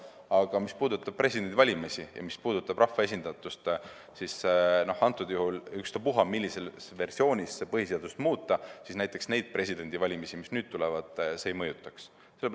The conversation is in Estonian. Aga mis puudutab presidendivalimisi ja mis puudutab rahva esindatust, siis ükstaspuha, millises versioonis põhiseadust muuta, näiteks neid presidendivalimisi, mis nüüd tulevad, see ei mõjutaks.